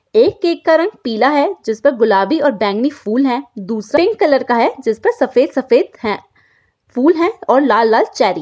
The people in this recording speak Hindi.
एक केक का रंग पीला है जिस पर गुलाबी और बैंगनी फूल है दूसरे कलर का है जिस पर सफेद सफेद है फूल है और लाल लाल चेरी .